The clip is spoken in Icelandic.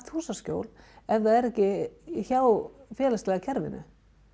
húsaskjól ef það er ekki hjá félagslega kerfinu